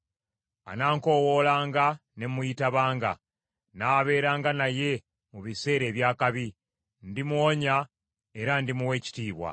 Anankowoolanga ne muyitabanga; nnaabeeranga naye mu biseera eby’akabi. Ndimuwonya era ndimuwa ekitiibwa.